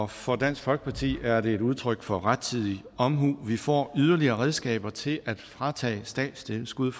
for dansk folkeparti er det et udtryk for rettidig omhu vi får yderligere redskaber til at fratage statstilskud